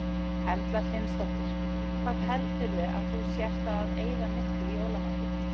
Erla Hlynsdóttir: Hvað heldurðu að þú sért að eyða miklu í jólamatinn?